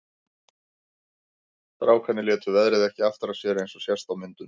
Strákarnir létu veðrið ekki aftra sér eins og sést á myndunum.